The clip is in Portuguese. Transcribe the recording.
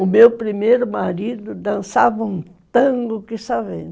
O meu primeiro marido dançava um tango que só vendo